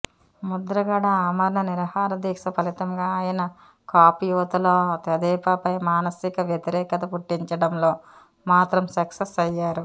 ముద్రగడ ఆమరణ నిరాహారదీక్ష ఫలితంగా ఆయన కాపు యువతలో తెదేపాపై మానసిక వ్యతిరేకత పుట్టించడంలో మాత్రం సక్సెస్ అయ్యారు